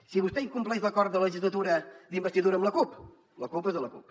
si vostè incompleix l’acord de legislatura d’investidura amb la cup la culpa és de la cup